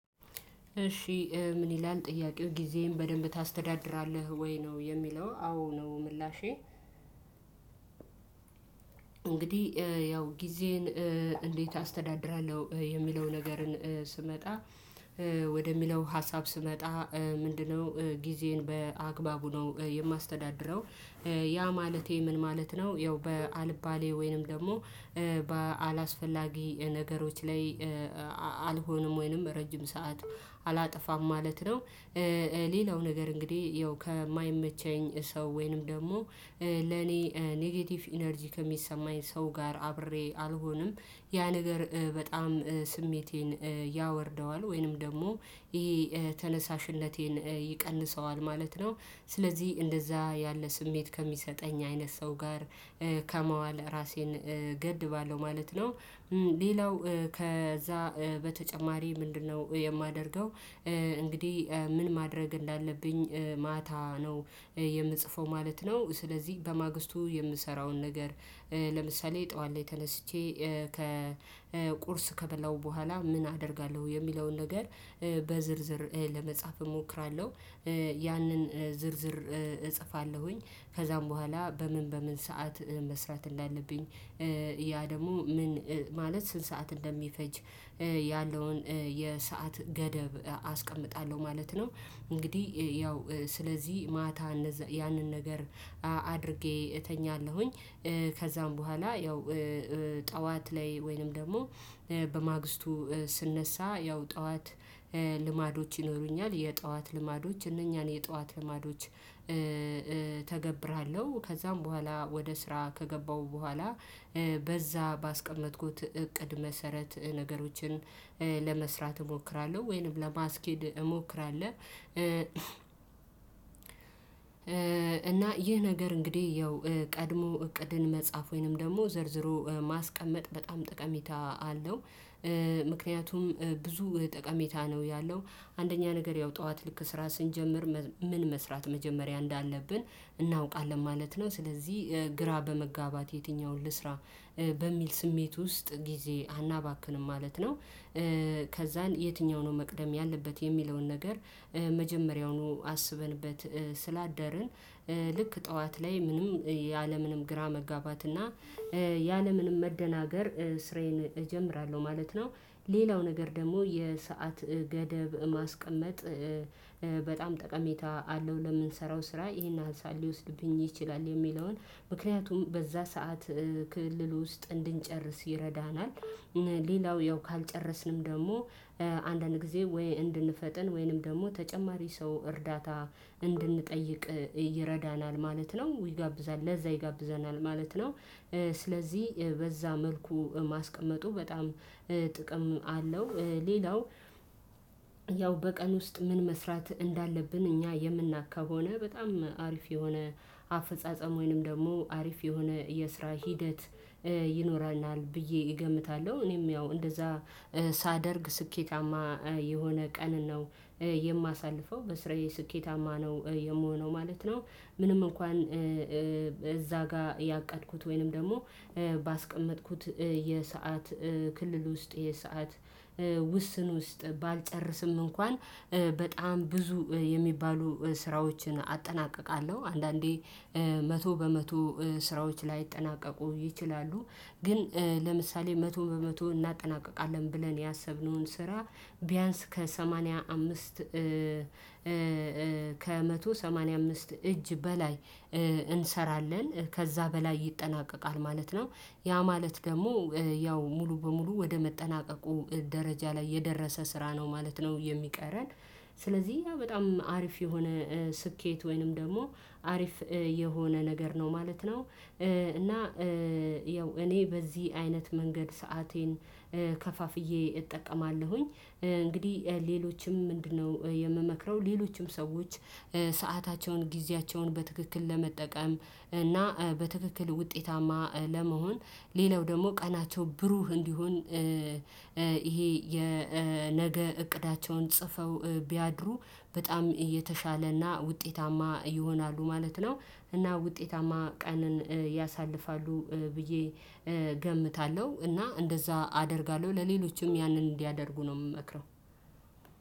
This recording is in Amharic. እሺ ምን ይላል ጥያቄው ጊዜህን በደንብ ታስተዳድራለህ ወይ ነው የሚለው? አዎ ነው ምላሼ። እንግዲህ ያው ጊዜን እንዴት አስተዳድራለሁ የሚለውን ነገርን ስመጣ ወደሚለው ሀሳብ ስመጣ ምንድነው ጊዜን በአግባቡ ነው የማስተዳድረው? ያ ማለቴ ምን ማለት ነው ያው በአልባሌ ወይንም ደግሞ በአላስፈላጊ ነገሮች ላይ አልሆንም ወይንም ረጅም ሰዓት አላጠፋም ማለት ነው። ሌላው ነገር እንግዲህ ያው ከማይመቸኝ ሰው ወይንም ደግሞ ለኔ ኔጌቲቭ ኢነርጂ ከሚሰማኝ ሰው ጋር አብሬ አልሆንም ያ ነገር በጣም ስሜቴን ያወርደዋል ወይንም ደግሞ ይሄ ተነሳሽነቴን ይቀንሰዋል ማለት ነው። ስለዚህ እንደዛ ያለ ስሜት ከሚሰጠኝ አይነት ሰው ጋር ከመዋል ራሴን ገድባለሁ ማለት ነው። ሌላው ከዛ በተጨማሪ ምንድነው የማደርገው? እንግዲህ ምን ማድረግ እንዳለብኝ ማታ ነው የምጽፈው ማለት ነው። ስለዚህ በማግስቱ የምሰራውን ነገር ለምሳሌ ጠዋት ላይ ተነስቼ ከቁርስ ከበላሁ በኋላ ምን አደርጋለሁ የሚለውን ነገር በዝርዝር ለመጻፍ እሞክራለሁ። ያንን ዝርዝር እጽፋለሁኝ ከዛም በኋላ በምን በምን ሰዓት መስራት እንዳለብኝ ያ ደግሞ ምን ማለት ስንት ሰዓት እንደሚፈጅ ያለውን የሰዓት ገደብ አስቀምጣለሁ ማለት ነው። እንግዲህ ያው ስለዚህ ማታ ያንን ነገር አድርጌ እተኛለሁኝ። ከዛም በኋላ ያው ጠዋት ላይ ወይንም ደግሞ በማግስቱ ስንነሳ ያው ጠዋት ልማዶች ይኖሩኛል የጠዋት ልማዶች እነኛን የጠዋት ልማዶች እተገብራለሁ ከዛም በኋላ ወደ ስራ ከገባሁ በኋላ በዛ ባስቀመጥኩት እቅድ መሰረት ነገሮችን ለመስራት እሞክራለሁ ወይንም ለማስኬድ እሞክራለሁ። እና ይህ ነገር እንግዲህ ያው ቀድሞ እቅድን መጻፍ ወይንም ደግሞ ዘርዝሮ ማስቀመጥ በጣም ጠቀሜታ አለው። ምክኒያቱም ብዙ ጠቀሜታ ነው ያለው። አንደኛ ነገር ያው ጠዋት ልክ ስራ ስንጀምር ምን መስራት መጀመሪያ እንዳለብን እናውቃለን ማለት ነው ስለዚህ ግራ በመጋባት የትኛውን ልስራ በሚል ስሜት ውስጥ ጊዜ አናባክንም ማለት ነው። ከዛን የትኛው ነው መቅደም ያለበት የሚለውን ነገር መጀመሪያውኑ አስበንበት ስላደርን ልክ ጠዋት ላይ ምንም ያለምንም ግራ መጋባት እና ያለምንም መደናገር ስራዬን እጀምራለሁ ማለት ነው። ሌላው ነገር ደግሞ የሰዓት ገደብ ማስቀመጥ በጣም ጠቀሜታ አለው ለምንሰራው ስራ ይሄን ሀሳብ ሊወስድብኝ ይችላል የሚለውን ምክንያቱም በዛ ሰዓት ክልል ውስጥ እንድንጨርስ ይረዳናል። ሌላው ያው ካልጨረስንም ደግሞ አንዳንድ ጊዜ ወይ እንድንፈጥን ወይንም ደግሞ ተጨማሪ ሰው እርዳታ እንድንጠይቅ ይረዳናል ማለት ነው ይጋብዛል ለዛ ይጋብዘናል ማለት ነው። ስለዚህ በዛ መልኩ ማስቀመጡ በጣም ጥቅም አለው። ሌላው ያው በቀን ውስጥ ምን መስራት እንዳለብን እኛ የምናቅ ከሆነ በጣም አሪፍ የሆነ አፈጻጸም ወይንም ደግሞ አሪፍ የሆነ የስራ ሂደት ይኖራልናል ብዬ እገምታለሁ እኔም ያው እንደዛ ሳደርግ ስኬታማ የሆነ ቀን ነው። የማሳልፈው በስራዬ ስኬታማ ነው የምሆነው ማለት ነው። ምንም እንኳን እዛ ጋር ያቀድኩት ወይንም ደግሞ ባስቀመጥኩት የሰዓት ክልል ውስጥ የሰዓት ውስን ውስጥ ባልጨርስም እንኳን በጣም ብዙ የሚባሉ ስራዎችን አጠናቅቃለሁ አንዳንዴ መቶ በመቶ ስራዎች ላይጠናቀቁ ይችላሉ። ግን ለምሳሌ መቶ በመቶ እናጠናቅቃለን ብለን ያሰብነውን ስራ ቢያንስ ከሰማንያ አምስት ከመቶ ሰማንያ አምስት እጅ በላይ እንሰራለን ከዛ በላይ ይጠናቀቃል ማለት ነው። ያ ማለት ደግሞ ያው ሙሉ በሙሉ ወደ መጠናቀቁ ደረጃ ላይ የደረሰ ስራ ነው ማለት ነው የሚቀረን ስለዚህ ያ በጣም አሪፍ የሆነ ስኬት ወይንም ደግሞ አሪፍ የሆነ ነገር ነው ማለት ነው። እና ያው እኔ በዚህ አይነት መንገድ ሰአቴን ከፋፍዬ እጠቀማለሁኝ። እንግዲህ ሌሎችም ምንድነው የምመክረው ሌሎችም ሰዎች ሰአታቸውን ጊዜያቸውን በትክክል ለመጠቀም እና በትክክል ውጤታማ ለመሆን ሌላው ደግሞ ቀናቸው ብሩህ እንዲሆን ይሄ የነገ እቅዳቸውን ጽፈው ቢያድሩ በጣም የተሻለና ውጤታማ ይሆናሉ ማለት ነው። እና ውጤታማ ቀንን ያሳልፋሉ ብዬ ገምታለሁ እና እንደዛ አደርጋለሁ ለሌሎችም ያንን እንዲያደርጉ ነው የምመክረው።